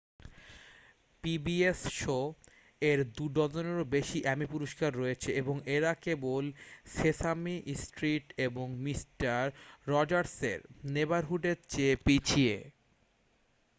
pbs শো-এর দু-ডজনেরও বেশি এ্যামি পুরষ্কার রয়েছে এবং এরা কেবল সেসামি স্ট্রিট এবং মিস্টার রজার্সের নেবারহুডের চেয়ে পিছিয়ে